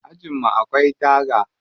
Ajin mu akwai taga.